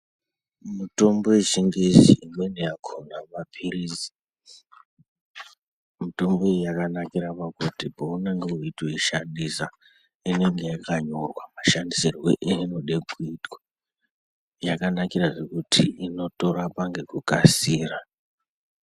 Mitombo yechingezi imweni yakhona mapilizi mutombo iyi yakanakirw kuti peunenge weitoishandisa inenge yakanyorwa mashandisirwe einenge yeide kuitwa yakanakirazve kuti inotorapa ngekukasira.